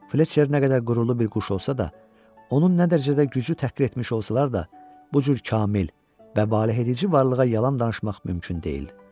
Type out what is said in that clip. Fletçer nə qədər qürurlu bir quş olsa da, onun nə dərəcədə gücü təhqir etmiş olsalar da, bu cür kamil, və baledicici varlığa yalan danışmaq mümkün deyil.